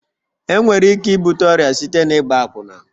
Enwere ike ibute ọrịa site na ịgba akwụna